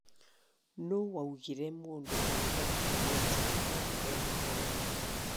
Nũũ waugire mũndũ arugaga irio njega tondu ena ageni?